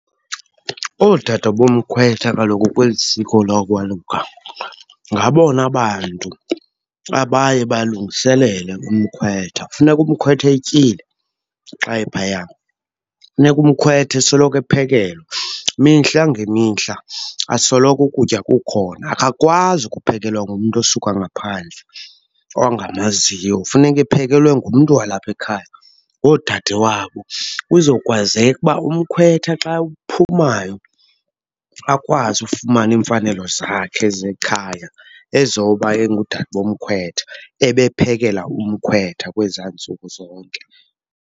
Oodade bomkhwetha kaloku kweli siko lokwaluka ngabona bantu abaye balungiselele umkhwetha. Kufuneka umkhwetha etyile xa ephaya. Funeka umkhwetha esoloko ephekelwa mihla ngemihla, asoloko ukutya kukhona. Akakwazi ukuphekelwa ngumntu osuka ngaphandle ongamaziyo, funeke ephekelwe ngumntu walapha ekhaya, ngoodadewabo. Kuzokwazeka uba umkhwetha xa uphumayo akwazi ufumana iimfanelo zakhe zekhaya ezoba engudade bomkhwetha, ebephekela umkhwetha kwezaa ntsuku zonke.